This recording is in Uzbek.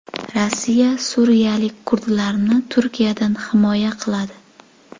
Rossiya suriyalik kurdlarni Turkiyadan himoya qiladi.